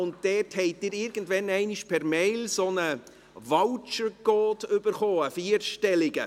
Sie haben irgendwann einmal per Mail einen vierstelligen Voucher-Code erhalten.